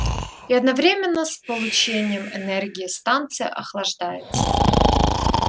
и одновременно с получением энергии станция охлаждается